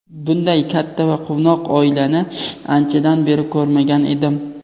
Bunday katta va quvnoq oilani anchadan beri ko‘rmagan edim.